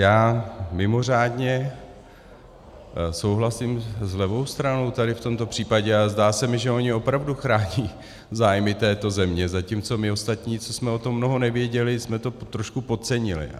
Já mimořádně souhlasím s levou stranou tady v tomto případě, ale zdá se mi, že oni opravdu chrání zájmy této země, zatímco my ostatní, co jsme o tom mnoho nevěděli, jsme to trošku podcenili.